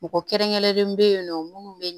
Mɔgɔ kɛrɛnkɛrɛnnen be yen nɔ munnu be